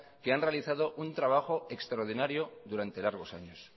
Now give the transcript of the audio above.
que han realizado un trabajo extraordinario durante largos años